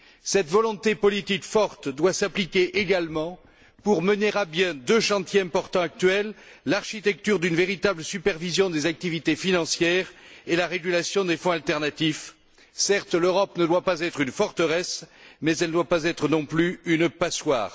Cette volonté politique forte doit s'appliquer également pour mener à bien deux chantiers actuels importants l'architecture d'une véritable supervision des activités financières et la régulation des fonds alternatifs. Certes, l'Europe ne doit pas être une forteresse, mais elle ne doit pas être non plus une passoire.